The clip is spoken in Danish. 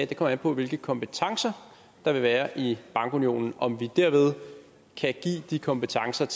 det kommer an på hvilke kompetencer der vil være i bankunionen og om vi dermed kan give de kompetencer